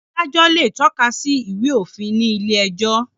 Adájọ́ le tọ́ka sí Ìwé-òfin ní ilé-ẹjọ́.